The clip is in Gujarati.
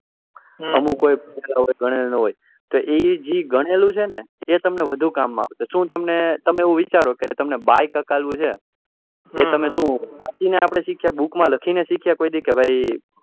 અમુક એ જે ઘણેલું છે ને એ જે ગણેલું છે એ તમને વધુ કામ આવશે શુ તમે તમે વિચારો bike હકાવું છે એ તમે આપડે વાંચી ને શીખ્યા book માં લખી ને શીખ્યા કોઈ દિવસ કે